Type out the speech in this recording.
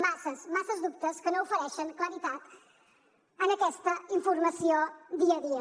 masses masses dubtes que no ofereixen claredat en aquesta informació dia a dia